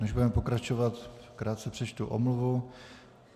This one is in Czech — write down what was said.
Než budeme pokračovat, krátce přečtu omluvu.